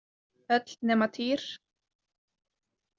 Öll nema Týr.